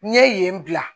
N ye yen bila